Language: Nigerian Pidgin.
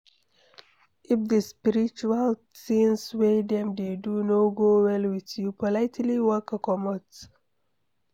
if di spiritual tins wey dem dey do no go well with you, politely waka comot